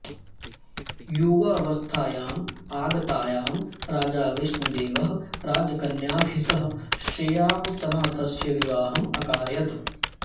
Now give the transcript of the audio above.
युवावस्थायाम् आगतायां राजा विष्णुदेवः राजकन्याभिः सह श्रेयांसनाथस्य विवाहम् अकारयत्